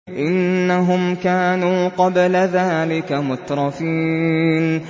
إِنَّهُمْ كَانُوا قَبْلَ ذَٰلِكَ مُتْرَفِينَ